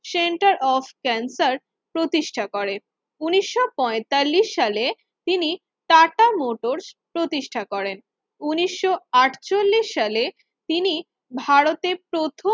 Center of cancer প্রতিষ্ঠা করে উনিশও পয়তাল্লিশ সালে তিনি টাটা motors প্রতিষ্ঠা করেছিলেন উনিশও আটচল্লিশ সালে তিনি ভারতের প্রথম